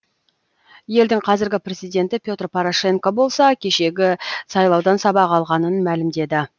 елдің қазіргі президенті петр порошенко болса кешегі сайлаудан сабақ алғанын мәлімдеді